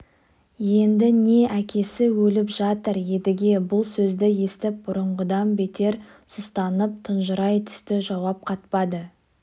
енді не әкесі өліп жатыр едіге бұл сөзді естіп бұрынғыдан бетер сұстанып тұнжырай түсті жауап қатпады